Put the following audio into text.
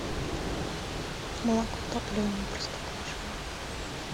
молоко топленое простоквашино